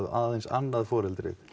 aðeins annað foreldrið